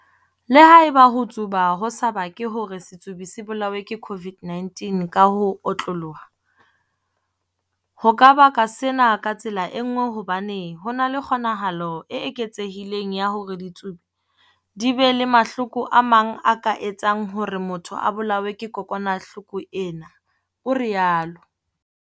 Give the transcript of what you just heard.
Le haeba ho tsuba ho sa bake hore setsubi se bolawe ke COVID-19 ka ho otloloha, ho ka baka sena ka tsela e nngwe hobane ho na le kgo-nahalo e eketsehileng ya hore ditsubi di be le mahloko a mang a ka etsang hore motho a bolawe ke kokwanahloko ena, o rialo.